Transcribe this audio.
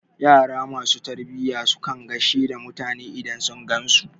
Yara ma su tarbiya su kan gaishe da mutane idan sun gan su.